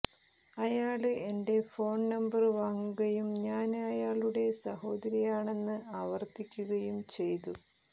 അയാള് എന്റെ phone number വാങ്ങുകയും ഞാന് അയാളുടെ സഹോദരിയാണെന്ന് ആവര്ത്തിക്കുകയും ചെയ്തു